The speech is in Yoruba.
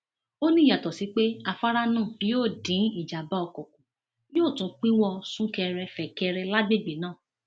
ó ní yàtọ sí pé afárá náà yóò dín ìjàmbá ọkọ kù yóò tún pínwó súnkẹrẹfẹkẹrẹ lágbègbè náà